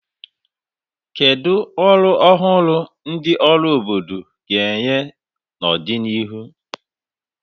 Kedu ọrụ ọhụrụ ndị ọrụ obodo ga-enye n'ọdịnihu?